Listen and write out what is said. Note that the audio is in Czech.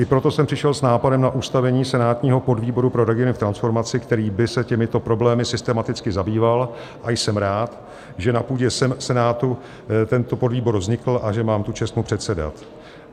I proto jsem přišel s nápadem na ustavení senátního podvýboru pro regiony v transformaci, který by se těmito problémy systematicky zabýval, a jsem rád, že na půdě Senátu tento podvýbor vznikl a že mám tu čest mu předsedat.